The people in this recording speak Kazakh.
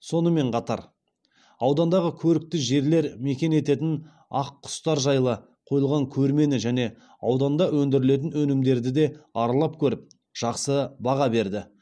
сонымен қатар аудандағы көрікті жерлер мекен ететін ақ құстар жайлы қойылған көрмені және ауданда өндірілетін өнімдерді де аралап көріп жақсы баға берді